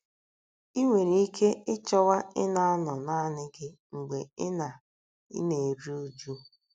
I nwere ike ịchọwa ịna - anọ naanị gị mgbe ị na - ị na - eru uju.